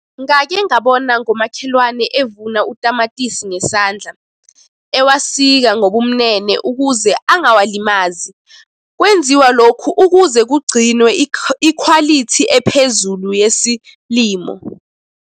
Ngake ngabona ngomakhelwane evuna utamatisi ngesandla, ewasika ngobumnene ukuze angawalimazi. Kwenziwa lokhu ukuze kugcinwe ikhwalithi ephezulu yesilimo.